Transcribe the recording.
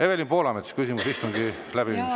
Evelin Poolamets, küsimus istungi läbiviimise kohta.